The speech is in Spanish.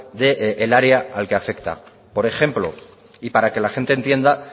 del área al que afecta por ejemplo y para que la gente entienda